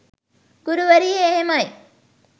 ගුරුවරිය එහෙමයි